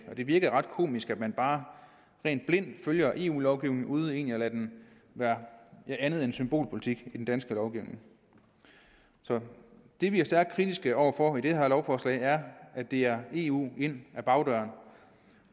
og det virker ret komisk at man bare blindt følger eu lovgivningen uden at lade den være andet end symbolpolitik i den danske lovgivning så det vi er stærkt kritiske over for i det her lovforslag er at det er eu ind ad bagdøren